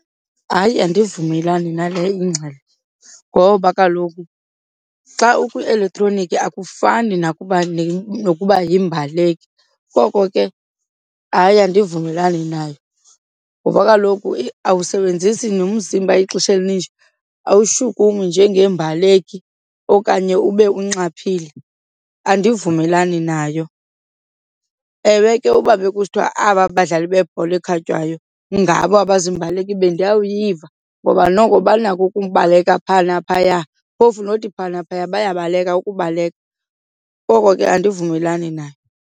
Hayi, andivumelani nale ingxelo ngoba kaloku xa ukwielektroniki akufani nokuba yimbaleki, koko ke hayi andivumelani nayo. Ngoba kaloku awusebenzisi nomzimba ixesha elininji, awushukumisi njengeembaleki okanye ube unxaphile. Andivumelani nayo. Ewe ke, uba bekusithiwa aba badlali bebhola ekhatywayo ngabo abaziimbaleki bendawuyiva ngoba noko banako ukubaleka phaa naphaya phofu nothi phaa naphaya bayabaleka ukubaleka. Ngoko ke andivumelani nayo.